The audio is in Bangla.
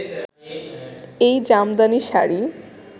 এই জামদানি শাড়ি